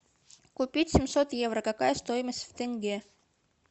купить семьсот евро какая стоимость в тенге